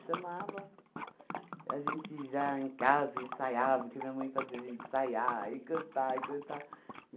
a gente já em casa ensaiava, porque minha mãe fazia a gente ensaiar, e cantar, e cantar.